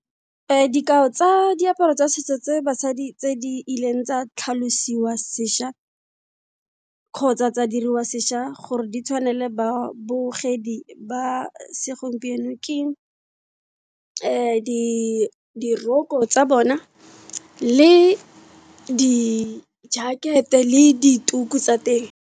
Dikao tsa diaparo tsa setso tse basadi tse di e leng tsa tlhalosiwa sesha, kgotsa tsa diriwa sesha, gore di tshwanele ba bogedi ba segompieno. Ke di diroko tsa bona, le di-jacket-e, le dituku tsa teng.